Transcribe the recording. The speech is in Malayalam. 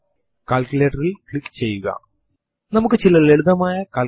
ഒരു വേരിയബിൾ ന്റെ മൂല്യം പ്രദർശിപ്പിക്കുന്നതിനും നമുക്ക് എച്ചോ കമാൻഡ് ഉപയോഗിക്കാം